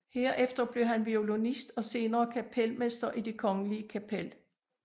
Herefter blev han violinist og senere kapelmester i Det Kongelige Kapel